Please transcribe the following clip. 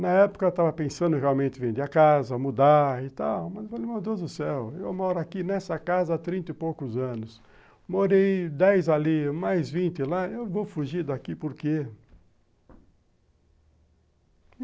Na época eu estava realmente pensando em vender a casa, mudar e tal, mas falei, meu Deus do céu, eu moro aqui nessa casa há trinta e poucos anos, morei dez ali, mais vinte lá, eu vou fugir daqui por quê?